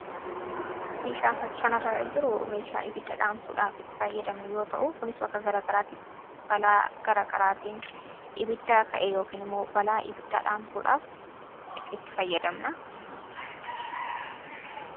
Meeshaan fakkii kana irra jiru meeshaa ibidda dhaamsuudhaaf itti fayyadamnu yoo ta'u, kunis bakka garagaraatti balaa garagaraatiin ibiddaa ka'e yookiin immoo balaa ibiddaa dhaamsuudhaaf itti fayyadamna.